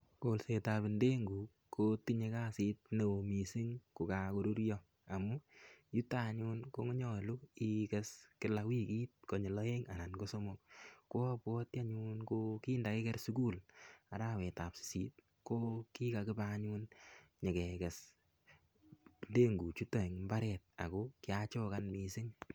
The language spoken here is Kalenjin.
Kolsetab ndenguk ko tinyei kasit ne oo mising' ko kakorurio amun yuto anyun konyolu iker kila wikit koyul oeng' anan ko somok ko abwoti anyun ko kindakiker sukul arawetab sisit ko kikakibe anyun nyikekes ndengu chuto eng' imbaret ako kiachokan mising'